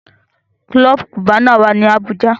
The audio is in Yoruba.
Club Cubana wá ní Abuja.